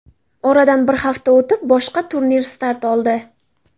Oradan bir hafta o‘tib, boshqa turnir start oldi.